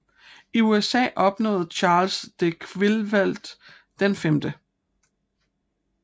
I USA opnåede Charles de Quillfeldt den 5